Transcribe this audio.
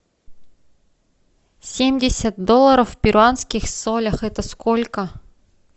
семьдесят долларов в перуанских солях это сколько